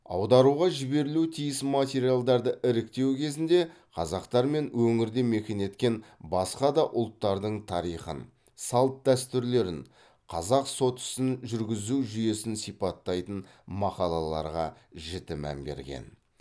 аударуға жіберілуі тиіс материалдарды іріктеу кезінде қазақтар мен өңірде мекен еткен басқа да ұлттардың тарихын салт дәстүрлерін қазақ сот ісін жүргізу жүйесін сипаттайтын мақалаларға жіті мән берген